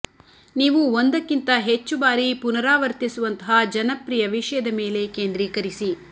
ನೀವು ಒಂದಕ್ಕಿಂತ ಹೆಚ್ಚು ಬಾರಿ ಪುನರಾವರ್ತಿಸುವಂತಹ ಜನಪ್ರಿಯ ವಿಷಯದ ಮೇಲೆ ಕೇಂದ್ರೀಕರಿಸಿ